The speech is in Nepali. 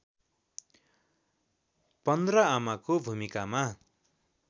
१५ आमाको भूमिकामा